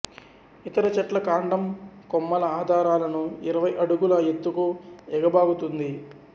ఇతర చెట్ల కాండం కొమ్మల ఆధారాలను ఇరవై అడుగుల ఎత్తుకు ఏగబాకుతుంది